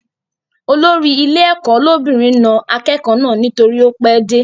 Olórí ilé ẹ̀kọ́ lóbìnrin na akẹ́kọ̀ọ́ náà nítorí ó pẹ́ dé